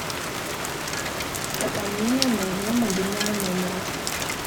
пополнение моего мобильного номера